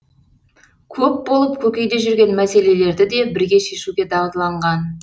көп болып көкейде жүрген мәселелерді де бірге шешуге дағдыланған